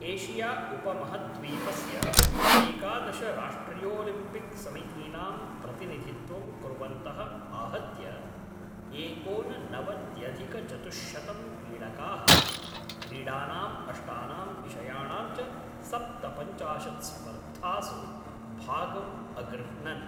Asia उपमहद्वीपस्य एकादश राष्ट्रियोलिम्पिक्समितीनां प्रतिनिधित्वं कुर्वन्तः आहत्य एकोननवत्यधिकचतुश्शतं क्रीडकाः क्रीडानाम् अष्टानां विषयाणां च सप्तपञ्चाशत् स्पर्धासु भागम् अगृह्णन्।